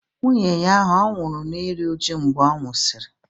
Nwunye ahụ ọ̀ nwụrụ n'iru uju mgbe ọ nwụsịrị?